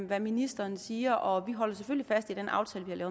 hvad ministeren siger og vi holder selvfølgelig fast i den aftale